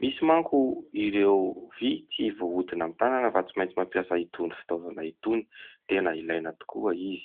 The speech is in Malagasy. misy manko ireo vy tsy voahodina amin'ny tànana fa tsy maintsy mampiasa itony fitaovana itony, tena ilaina tokoa izy.